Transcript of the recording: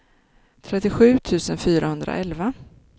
trettiosju tusen fyrahundraelva